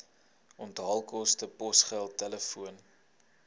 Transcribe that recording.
onthaalkoste posgeld telefoon